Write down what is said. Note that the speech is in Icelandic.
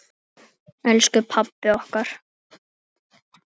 Elsku pabbi okkar.